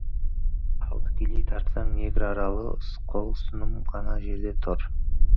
ал тікелей тартсаң негр аралы қол ұсыным ғана жерде түр